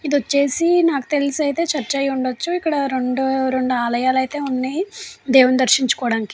ఇది వచ్చేసి నాకు తెలుసు అయితే చర్చ్ అయి ఉండొచ్చు ఇక్కడ రెండు రెండు ఆలయాలు అయితే ఉన్నాయి దేవుణ్ణి దర్శించుకోవడానికి.